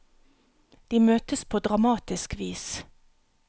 De møtes på dramatisk vis.